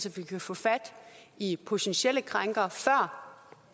at vi kan få fat i potentielle krænkere før